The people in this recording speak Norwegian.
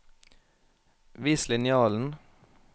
Vis linjalen